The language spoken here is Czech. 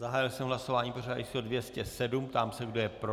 Zahájil jsem hlasování pořadové číslo 207, ptám se, kdo je pro.